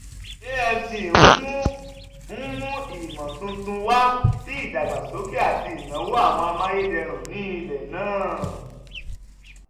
afc n mu n mu imotuntun wa si idagbasoke ati inawo awọn amayederun ni ilẹ naa.